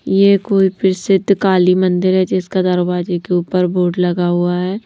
यह कोई प्रसिद्ध काली मंदिर है जिसका दरवाजे के ऊपर बोर्ड लगा हुआ है।